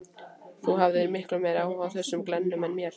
Þú hafðir miklu meiri áhuga á þessum glennum en mér.